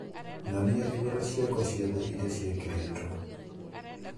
Nyonia igora ciakwa ciothe iria ciekeretwo